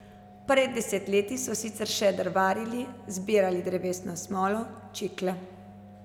Pred desetletji so sicer še drvarili, zbirali drevesno smolo, čikle.